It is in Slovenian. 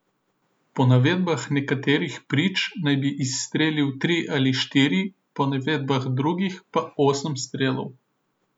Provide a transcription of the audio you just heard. Po navedbah nekaterih prič naj bi izstrelil tri ali štiri, po navedbah drugih pa osem strelov.